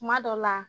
Kuma dɔ la